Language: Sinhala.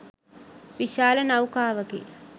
විශාල නෞකාවකි.